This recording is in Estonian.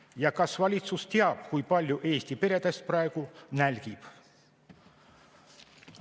Ja kas valitsus teab, kui paljud Eesti peredest praegu nälgivad?